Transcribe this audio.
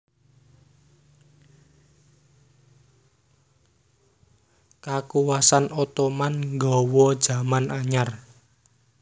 Kakuwasan Ottoman nggawa jaman anyar